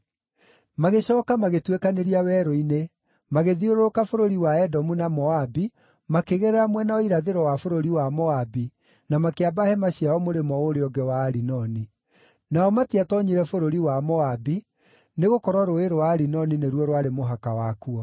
“Magĩcooka magĩtuĩkanĩria werũ-inĩ, magĩthiũrũrũka bũrũri wa Edomu na Moabi, makĩgerera mwena wa irathĩro wa bũrũri wa Moabi, na makĩamba hema ciao mũrĩmo ũũrĩa ũngĩ wa Arinoni. Nao matiatoonyire bũrũri wa Moabi, nĩgũkorwo Rũũĩ rwa Arinoni nĩruo rwarĩ mũhaka wakuo.